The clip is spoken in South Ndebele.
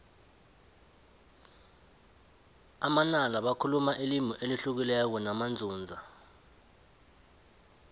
amanala bakhuluma ilimi elihlukileko namanzunza